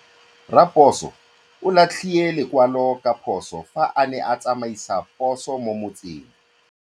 Raposo o latlhie lekwalô ka phosô fa a ne a tsamaisa poso mo motseng.